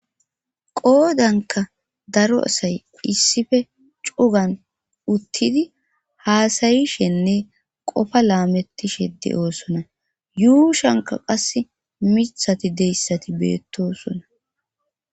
qoodanka daro asay issife cugan uttidi haasayishenne qofa laamettishe de oosona yuushanka qas mithati deyssati beettosona